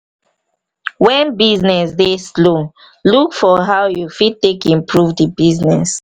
when business dey slow look for how you fit take improve di business